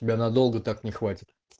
тебя надолго так не хватит